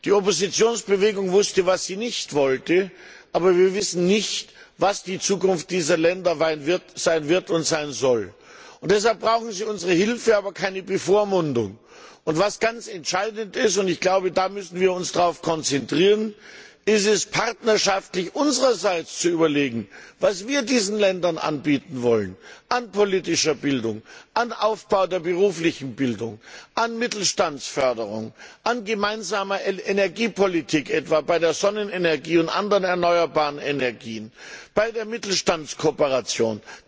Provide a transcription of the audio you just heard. Die Oppositionsbewegung wusste, was sie nicht wollte, aber wir wissen nicht, was die Zukunft dieser Länder sein wird und sein soll. Deshalb brauchen sie unsere Hilfe, aber keine Bevormundung. Ganz entscheidend und darauf müssen wir uns konzentrieren ist es, unsererseits partnerschaftlich zu überlegen, was wir diesen Ländern anbieten wollen an politischer Bildung, an Aufbau der beruflichen Bildung, an Mittelstandsförderung, an gemeinsamer Energiepolitik, etwa bei der Sonnenenergie und anderen erneuerbaren Energien, bei der Mittelstandskooperation.